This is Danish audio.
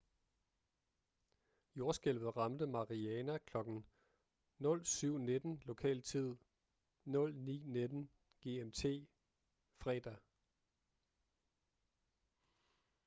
jordskælvet ramte mariana kl. 07:19 lokal tid 09:19 gmt fredag